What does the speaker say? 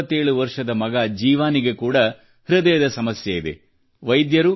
ಅವರ 27 ವರ್ಷದ ಮಗ ಜೀವಾನಿಗೆ ಕೂಡ ಹೃದಯದ ಸಮಸ್ಯೆಯಿದೆ